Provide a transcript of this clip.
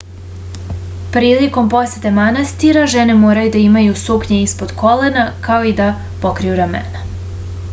prilikom posete manastirima žene moraju da imaju suknje ispod kolena kao i da pokriju ramena